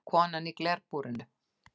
Konan í glerbúrinu?